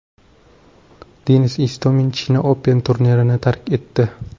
Denis Istomin China Open turnirini tark etdi.